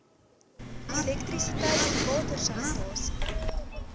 elektrisiteit water sanitasie